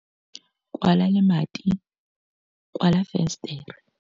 Kwala lemati, kwala fensetere.